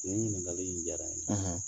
Nin ɲininkali in jara n ye